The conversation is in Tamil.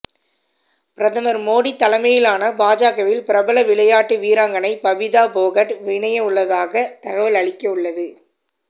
பிரதமர் மோடி தலைமையிலான பாஜகவில் பிரபல விளையாட்டு வீராங்கனை பபிதா போகட் இணைய உள்ளதாக தகவல் அளிக்க உள்ளது